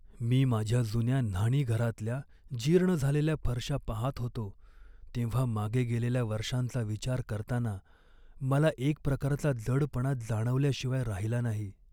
मी माझ्या जुन्या न्हाणीघरातल्या जीर्ण झालेल्या फरशा पाहात होतो तेव्हा मागे गेलेल्या वर्षांचा विचार करताना मला एक प्रकारचा जडपणा जाणवल्याशिवाय राहिला नाही.